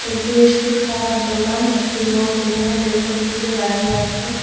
এটি একটি খাওয়ার দোকান একটি লোক এখানে পেছন ফিরে দাঁড়িয়ে আছে।